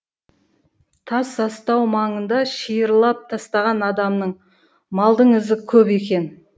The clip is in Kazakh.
тас астау маңында шиырлап тастаған адамның малдың ізі көп екен